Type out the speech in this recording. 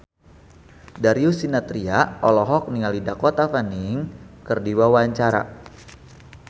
Darius Sinathrya olohok ningali Dakota Fanning keur diwawancara